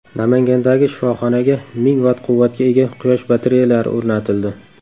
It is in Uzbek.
Namangandagi shifoxonaga ming vatt quvvatga ega quyosh batareyalari o‘rnatildi.